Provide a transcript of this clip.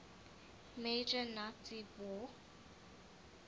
major nazi war